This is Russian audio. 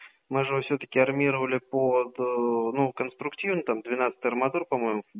мы же его всё-таки армировали по это ну конструктивно там двенадцать арматур по-моему